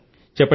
అవును సర్